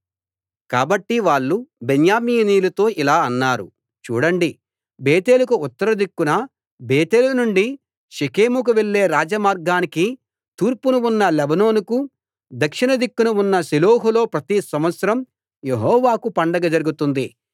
కాబట్టి వాళ్ళు బెన్యామీనీయులతో ఇలా అన్నారు చూడండి బేతేలుకు ఉత్తర దిక్కున బేతేలు నుండి షెకెముకు వెళ్ళే రాజమార్గానికి తూర్పున ఉన్న లెబోనాకు దక్షిణ దిక్కున ఉన్న షిలోహు లో ప్రతి సంవత్సరం యెహోవాకు పండగ జరుగుతుంది